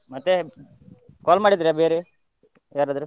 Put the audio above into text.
ಮತ್ತೆ, call ಮಾಡಿದ್ರ ಬೇರೆ ಯಾರದ್ರೂ?